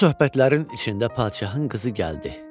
Bu söhbətlərin içində padşahın qızı gəldi.